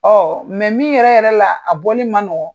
Ɔ mɛ min yɛrɛ yɛrɛ la a bɔli man nɔgɔn.